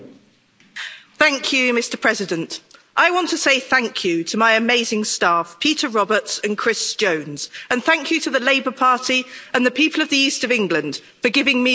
Mr President, I want to say thank you to my amazing staff, Peter Roberts and Chris Jones, and thank you to the Labour Party and the people of the East of England for giving me the opportunity to serve.